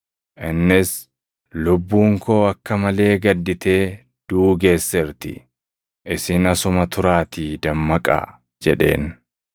Innis, “Lubbuun koo akka malee gadditee duʼuu geesseerti. Isin asuma turaatii dammaqaa” jedheen.